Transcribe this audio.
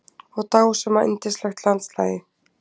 og dásama yndislegt landslagið.